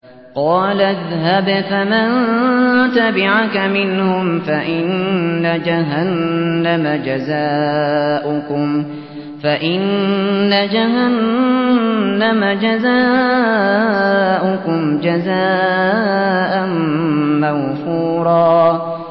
قَالَ اذْهَبْ فَمَن تَبِعَكَ مِنْهُمْ فَإِنَّ جَهَنَّمَ جَزَاؤُكُمْ جَزَاءً مَّوْفُورًا